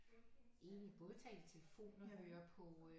Egentlig både tale i telefon og høre på